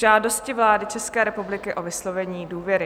Žádost vlády České republiky o vyslovení důvěry